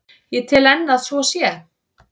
Ég tel enn að svo sé.